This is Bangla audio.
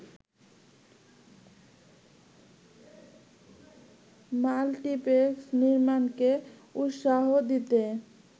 মাল্টিপ্লেক্স নির্মাণকে উৎসাহ দিতে